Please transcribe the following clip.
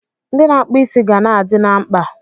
Ndị na-akpụ isi ga na-adị na mkpa.